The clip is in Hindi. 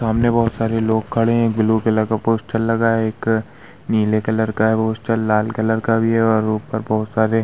सामने बहुत सारे लोग खड़े हैं ब्लू कलर का पोस्टर लगा है | एक नीले कलर का है पोस्टर लाल कलर का भी है और उपर बहुत सारे --